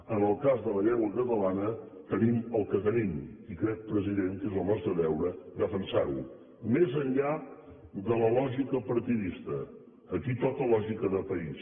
en el cas de la llengua catalana tenim el que tenim i crec president que és el nostre deure defensar ho més enllà de la lògica partidista aquí toca lògica de país